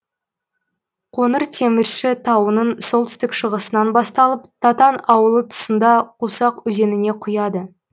қоңыртемірші тауының солтүстік шығысынан басталып татан ауылы тұсында қусақ өзеніне құяды